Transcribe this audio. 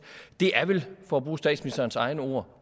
det er vel for at bruge statsministerens egne ord